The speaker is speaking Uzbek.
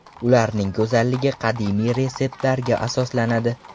Ularning go‘zalligi qadimiy retseptlarga asoslanadi.